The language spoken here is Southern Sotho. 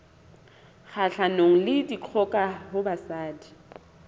kgahlanong le dikgoka ho basadi